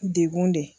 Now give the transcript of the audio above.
Degun de